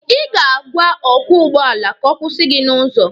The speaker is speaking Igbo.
Ị ga-agwa ọkwọ ụgbọala ka ọ kwụsị gị n'ụzọ.